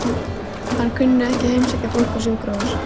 Hann kunni ekki að heimsækja fólk á sjúkrahús.